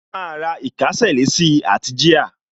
A máa ra ìkésà sí àti jíà